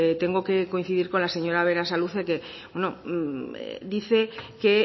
tengo que coincidir con la señora berasaluze que dice que